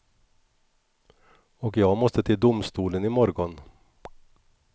Och jag måste till domstolen i morgon.